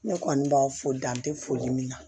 Ne kɔni b'a fo dan te foli min na